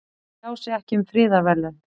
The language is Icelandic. Tjá sig ekki um friðarverðlaun